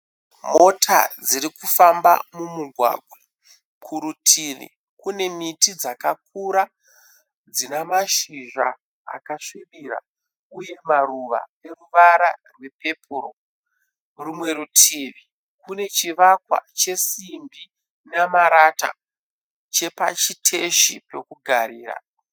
Mota dziri kufamba mumugwagwa. Kurutivi kune miti dzakakura dzina mashizha akasvibira uye maruva ane ruvara rwepepuru. Rumwe rutivi kune chesimbi namarata chepachiteshi pekugarira